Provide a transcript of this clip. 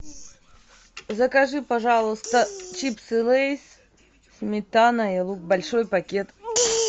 закажи пожалуйста чипсы лейс сметана и лук большой пакет